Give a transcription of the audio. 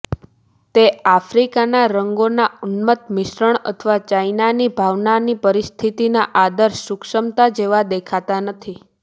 તે આફ્રિકાના રંગોનો ઉન્મત્ત મિશ્રણ અથવા ચાઇનાની ભાવનાની પરિસ્થિતિના આદર્શ સૂક્ષ્મતા જેવા દેખાતા નથી